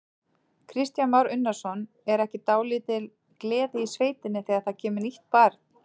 Kristján Már Unnarsson: Er ekki dálítil gleði í sveitinni þegar það kemur nýtt barn?